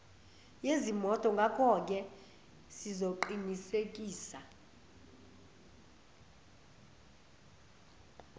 yezimoto ngakoke sizoqinisekisa